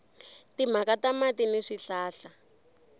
timhaka ta mati ni swihlahla